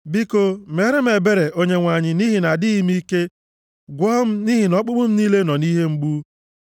Biko, meere m ebere Onyenwe anyị, nʼihi na adịghị m ike. Gwọọ m, nʼihi na ọkpụkpụ m niile nọ nʼihe mgbu.